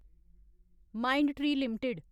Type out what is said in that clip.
Mindtree limited